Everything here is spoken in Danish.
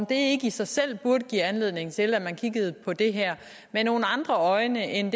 det ikke i sig selv give anledning til at man kiggede på det her med nogle andre øjne end